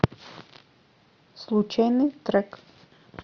случайный трек